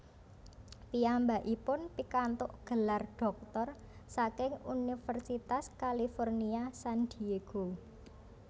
Piyambakipun pikantuk gelar dhoktor saking Universitas California San Diego